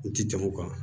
N ti jamu kan